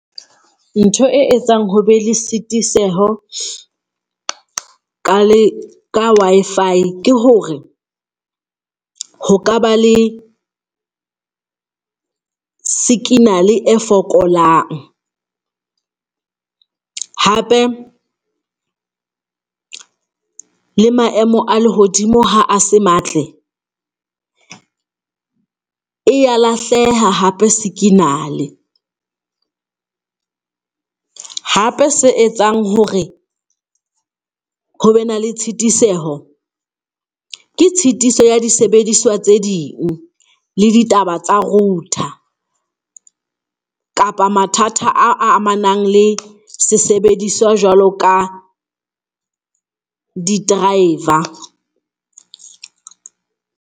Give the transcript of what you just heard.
Ntho e etsang ho be le sitiseho ka le, ka Wi-Fi ke hore ho ka ba le sikinale e fokolang hape le maemo a lehodimo ha a se matle, e ya lahleha hape sikinale hape se etsang hore ho be na le tshitiseho ke tshitiso ya disebediswa tse ding, le ditaba tsa router. Kapa mathata a amanang le sesebediswa jwalo ka di-driver.